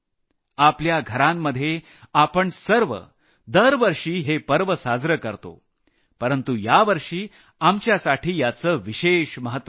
आपल्या घरांमध्ये आपण सर्व दरवर्षी हे पर्व साजरं करतो परंतु यावर्षी आपल्यासाठी याचं विशेष महत्व आहे